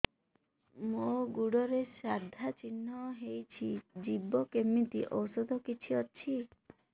ମୋ ଗୁଡ଼ରେ ସାଧା ଚିହ୍ନ ହେଇଚି ଯିବ କେମିତି ଔଷଧ କିଛି ଅଛି